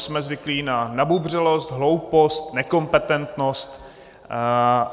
Jsme zvyklí na nabubřelost, hloupost, nekompetentnost.